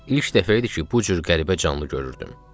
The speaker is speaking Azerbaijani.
İlk dəfə idi ki, bu cür qəribə canlı görürdüm.